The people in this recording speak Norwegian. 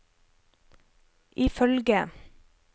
ifølge